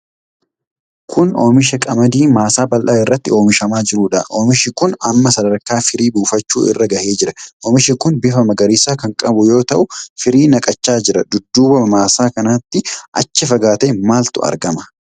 Kun oomisha qamadii maasaa bal'aa irratti oomishamaa jirudha. Oomishi kun amma sadarkaa firii buufachuu irra gahee jira. Oomishi kun bifa magariisa kan qabu yoo ta'u, firii naqachaa jira. Dudduuba maasaa kanatti achi fagaatee maaltu argama?